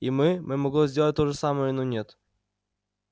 и мы мы могли сделать то же самое но нет